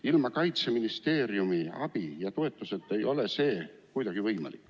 Ilma Kaitseministeeriumi abi ja toetuseta ei ole see kuidagi võimalik.